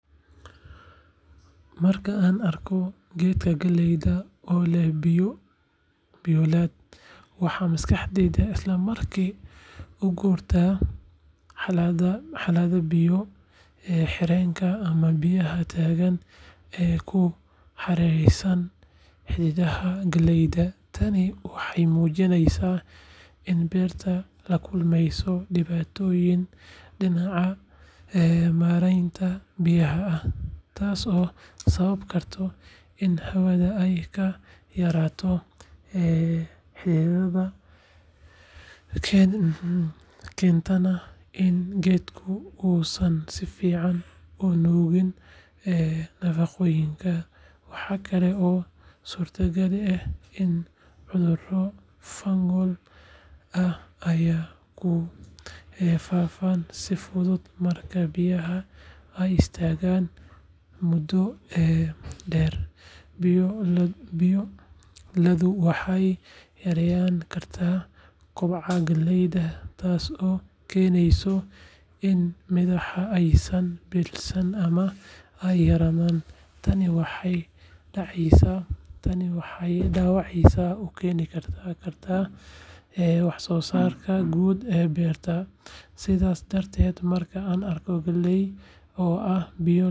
Marka aan arko geedka galleyda oo leh biyolad, waxa maskaxdaydu isla markiiba u guurtaa xaaladda biyo-xidheenka ama biyaha taagan ee ku hareeraysan xididdada galleyda. Tani waxay muujinaysaa in beertu la kulmeyso dhibaatooyin dhinaca maaraynta biyaha ah, taasoo sababi karta in hawada ay ka yaraato xididdada, keentana in geedka uusan si fiican u nuugin nafaqooyinka. Waxa kale oo suurtagal ah in cudurro fungal ah ay ku faaftaan si fudud marka biyaha ay istaagaan muddo dheer. Biyo-laddu waxay yareyn kartaa kobaca galleyda, taasoo keeneysa in midhaha aysan bislaan ama ay yaraadaan. Tani waxay dhaawac u keeni kartaa wax-soosaarka guud ee beerta. Sidaa darteed, marka aan arko geed galley ah oo biyo.